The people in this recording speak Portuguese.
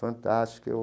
Fantástico eu.